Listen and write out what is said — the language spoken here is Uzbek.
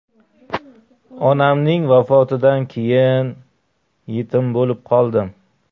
Onamning vafotidan keyin yetim bo‘lib qoldim.